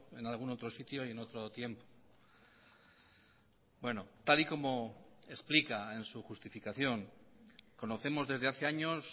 en algún otro sitio y en otro tiempo bueno tal y como explica en su justificación conocemos desde hace años